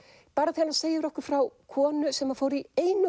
bara þegar hann segir okkur frá konu sem fór í einu